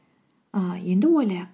ііі енді ойлайық